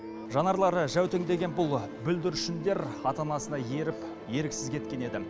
жанарлары жәутеңдеген бұл бүлдіршіндер ата анасына еріп еріксіз кеткен еді